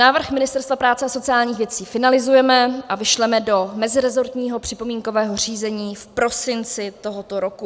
Návrh Ministerstva práce a sociálních věcí finalizujeme a vyšleme do meziresortního připomínkového řízení v prosinci tohoto roku.